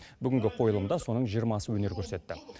бүгінгі қойылымда соның жиырмасы өнер көрсетті